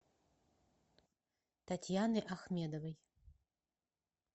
татьяны ахмедовой